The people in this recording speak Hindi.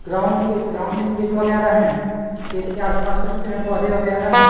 ग्राउंड के ग्राउंड में खेत वगैरह है खेत के आसपास कुछ पेड़-पौधे वगैरा है।